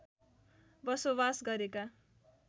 बसोवास गरेका